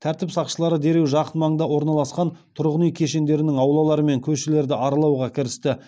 тәртіп сақшылары дереу жақын маңда орналасқан тұрғын үй кешендерінің аулалары мен көшелерді аралауға кірісті